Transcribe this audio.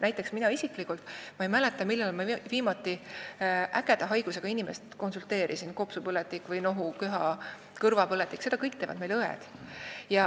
Ma ise näiteks ei mäleta, millal ma viimati konsulteerisin inimest ägeda haigusega, nagu kopsupõletik või nohu, köha, kõrvapõletik, seda kõike teevad meil õed.